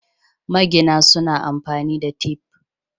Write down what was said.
Magina suna amfani da tif.